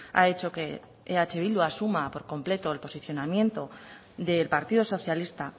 ha hecho que eh bildu asuma por completo el posicionamiento del partido socialista